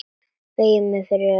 Beygi mig fyrir vilja þínum.